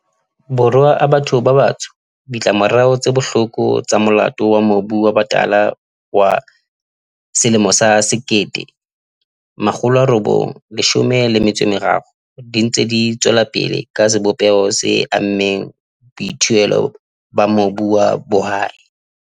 Borwa a batho ba batsho, ditlamorao tse bohloko tsa Molao wa Mobu wa Batala wa 1913 di ntse di tswelapele ka sebopeho se ammeng boithuelo ba mobu wa bohwai.